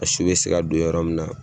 A su bɛ se don yɔrɔ min na.